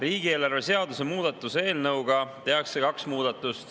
Riigieelarve seaduse muutmise eelnõuga tehakse kaks muudatust.